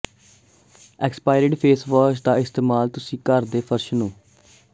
expired face wash ਦਾ ਇਸਤੇਮਾਲ ਤੁਸੀਂ ਘਰ ਦੇ ਫ਼ਰਸ਼ ਨੂੰ